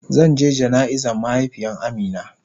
Zan je jana'iza mahaifiyan Amina.